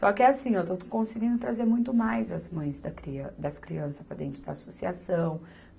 Só que é assim, eu estou, estou conseguindo trazer muito mais as mães da crian, das crianças para dentro da associação.